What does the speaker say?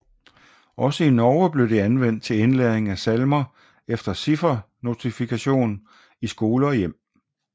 Også i Norge blev det anvendt til indlæring af salmer efter ciffernotation i skole og hjem